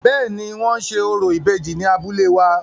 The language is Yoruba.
Bẹ́ẹ̀ni, wọ́n ṣe orò ìbejì ni abúlé wa.